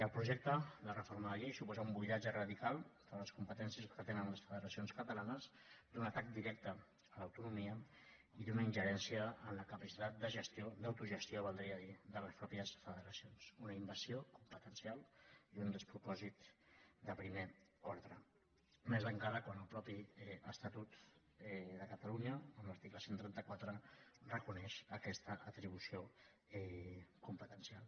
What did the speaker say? el projecte de reforma de la llei suposa un buidatge radical de les competències que tenen les federacions catalanes un atac directe a l’autonomia i una ingerèn·cia en la capacitat de gestió d’autogestió valdria dir de les mateixes federacions una invasió competencial i un despropòsit de primer ordre més encara quan el mateix estatut de catalunya en l’article cent i trenta quatre reconeix aquesta atribució competencial